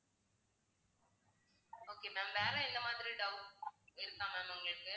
okay ma'am வேற என்ன மாதிரி doubts இருக்கா ma'am உங்களுக்கு